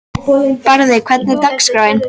Barði, hvernig er dagskráin?